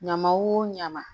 Ɲama o ɲama